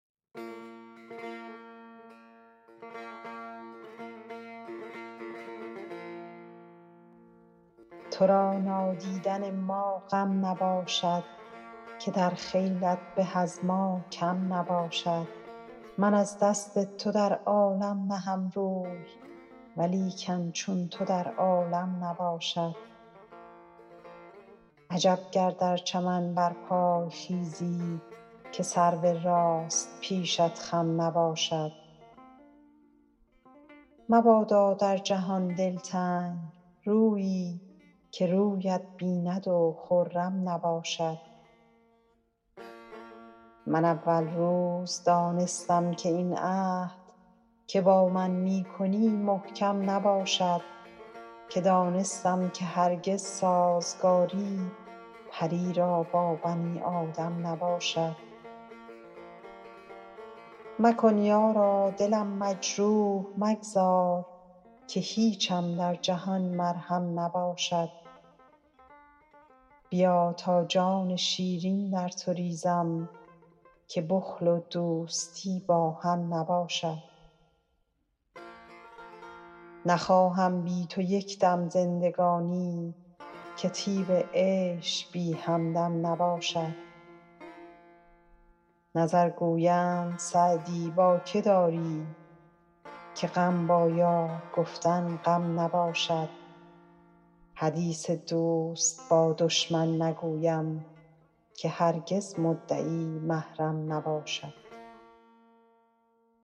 تو را نادیدن ما غم نباشد که در خیلت به از ما کم نباشد من از دست تو در عالم نهم روی ولیکن چون تو در عالم نباشد عجب گر در چمن برپای خیزی که سرو راست پیشت خم نباشد مبادا در جهان دلتنگ رویی که رویت بیند و خرم نباشد من اول روز دانستم که این عهد که با من می کنی محکم نباشد که دانستم که هرگز سازگاری پری را با بنی آدم نباشد مکن یارا دلم مجروح مگذار که هیچم در جهان مرهم نباشد بیا تا جان شیرین در تو ریزم که بخل و دوستی با هم نباشد نخواهم بی تو یک دم زندگانی که طیب عیش بی همدم نباشد نظر گویند سعدی با که داری که غم با یار گفتن غم نباشد حدیث دوست با دشمن نگویم که هرگز مدعی محرم نباشد